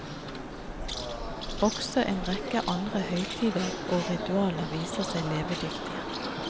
Også en rekke andre høytider og ritualer viste seg levedyktige.